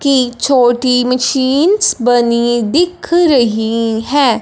कि छोटी मशीनस बनी दिख रही हैं।